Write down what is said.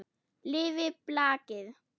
Lifi blakið!